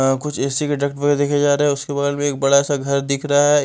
अ कुछ ए_सी के डब्बे देखे जा रहे हैं उसके बगल में एक बड़ा सा घर दिख रहा है।